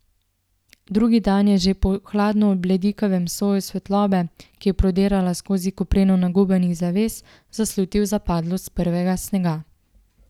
Drugi dan je že po hladno bledikavem soju svetlobe, ki je prodirala skozi kopreno nagubanih zaves, zaslutil zapadlost prvega snega.